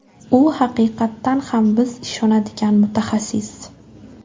U haqiqatan ham biz ishonadigan mutaxassis.